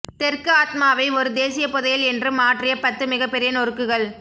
தெற்கு ஆத்மாவை ஒரு தேசிய புதையல் என்று மாற்றிய பத்து மிகப்பெரிய நொறுக்குகள்